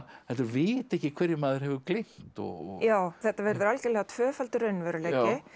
heldur vita ekki hverju maður hefur gleymt og já þetta verður algjörlega tvöfaldur raunveruleiki